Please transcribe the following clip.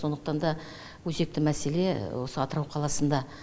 сондықтан да өзекті мәселе осы атырау қаласында